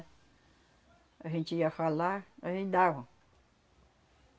A gente ia falar, aí davam.